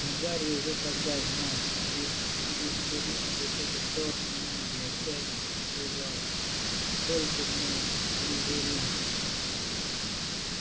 но гарри уже тогда знал из слизерина выходят чёрные маги и отчаянно сопротивлялся только не слизерин